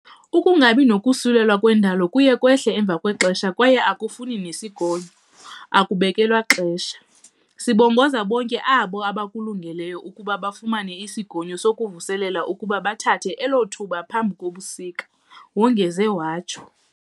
"Ukungabi nakusulelwa ngokwendalo kuye kwehle emva kwexesha kwaye akufani nesigonyo, akubekelwa xesha. Sibongoza bonke abo bakulungeleyo ukuba bafumana isigonyo sokuvuselela ukuba bathathe elo thuba phambi kobusika" wongeze watsho.